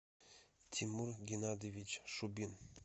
тимур геннадьевич шубин